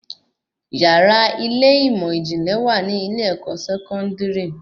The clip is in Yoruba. Yàrá ilé ìmọ ijinlẹ wa ni ilé-ẹ̀kọ́ Sẹkọndiri